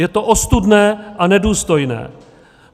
Je to ostudné a nedůstojné.